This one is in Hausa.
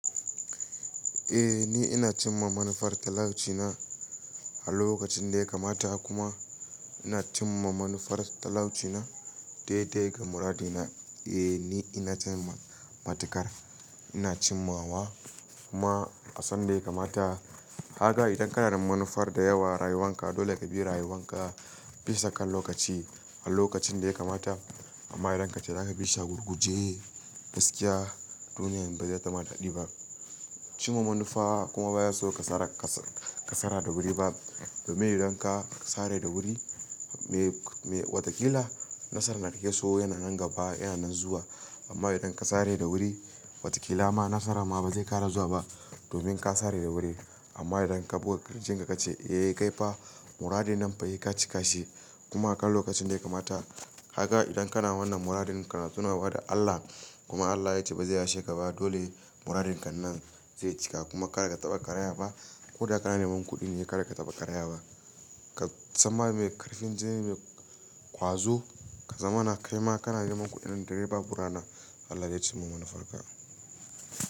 Eh ni ina cimma manufar talaucina a lokacin da ya kamata kuma ina cimma manufar talaucina dai dai ga muradina. Eh ni ina cin matukar, ina cimma wa kuma a san da ya kamata. Haka idan kana da manufar da yawa rayuwanka dole ka bi rayuwanka bisa kan lokaci a lokacin da ya kamata. Amma idan ka ce za ka bi shi a gurguje gaskiya duniyar ba zai tama daɗi ba. Cimma manufa kuma ba ya so ka sare ka sare da wuri ba. Domin idan ka sare da wuri me wataƙila nasarar da kake so yana nan gaba yana nan zuwa. Amma idan ka sare da wuri wataƙila ma nasara ma ba zai ƙara zuwa ba domin ka sare da wuri. Amma idan ka buga ƙarfin ka ka ce eh kai fa muradi nan fa hekaci kashi kuma a kan lokacin da ya kamata. Kaga idan kana wannan muradin ka na tunawa da Allah kuma Allah ya ce ba za yashe ka ba, dole marin ka nan zai cika kuma ba za ka taba kariya ba ko da kana neman kuɗi ne kada ka taɓa karaya ba. Ka zama mai ƙarfin, zai ne mai ƙwazo. Ka zamana kai ma kana neman kuɗin da dai babu rana Allah zai cimma manufarka.